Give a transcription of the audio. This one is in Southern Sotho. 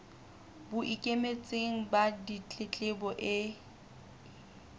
bo ikemetseng ba ditletlebo e